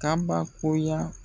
Kabakoya.